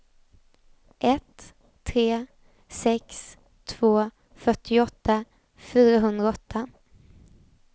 ett tre sex två fyrtioåtta fyrahundraåtta